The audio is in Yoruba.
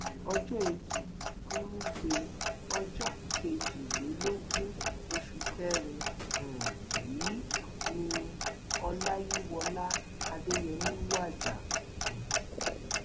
ọjọ etí furuufee ọjọ kejìlélógún oṣù kẹrin um yìí ni ọláyíwọlá adéyẹmi wájà um